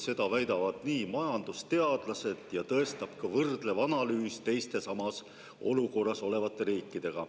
Seda väidavad majandusteadlased ja tõestab ka võrdlev analüüs teiste samas olukorras olevate riikidega.